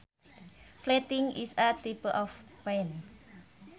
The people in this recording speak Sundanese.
Flatting is a type of paint